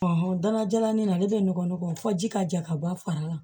danna jalanin ale bɛ nɔgɔ fɔ ji ka ja ka bɔ a fara la